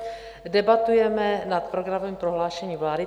Debatujeme nad programovým prohlášením vlády.